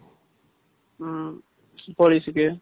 ம்ம் போலிஸ்க்கு